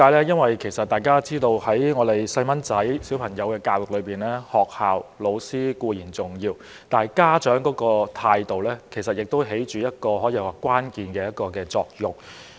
因為大家都知道在兒童教育方面，學校和教師固然重要，但家長的態度也起着關鍵作用。